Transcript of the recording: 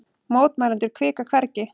Mótmælendur hvika hvergi